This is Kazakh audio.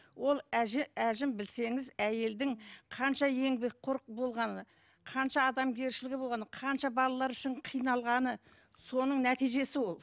ол әжім білсеңіз әйелдің қанша еңбекқор болғаны қанша адамгершілігі болғаны қанша балалар үшін қиналғаны соның нәтижесі ол